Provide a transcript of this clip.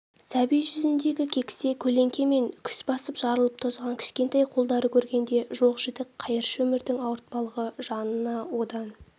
сәби жүзіндегі кекісе көлеңке мен күс басып жарылып тозған кішкентай қолдарды көргенде жоқ-жітік қайыршы өмірдің ауыртпалығы жанына одан